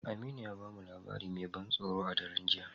Aminu ya ba mu labari mai ban tsoro a daren jiya.